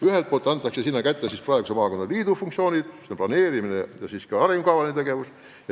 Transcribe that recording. Ühelt poolt antakse sinna üle praeguse maakonnaliidu funktsioonid, mis on eelkõige planeerimine ja arengukavaline tegevus.